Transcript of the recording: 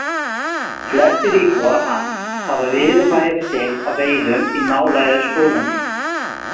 Flestir íbúar hans hafa viðurværi sitt af veiðum í nálægu skóglendi.